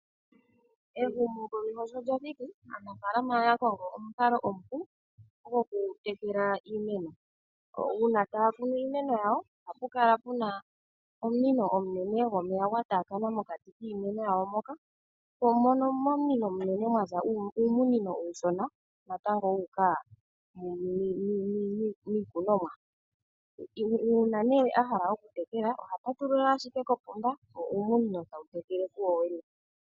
Ehumo komeho shi lyathiki aanafalama oya kongo omukalo omupu gwokutekela iimeno nangele taakunu iimeno ohapukala puna omunino omunene gwomeya gwataakana miikunino yawo nomomunino ngoka omunene ohamuka mwaza uumunino uushona natango wuuka miikunomwa nuuna ohala okutekela ohapatulula ashike kopomba wo uumunino tawu tekele kuwowene.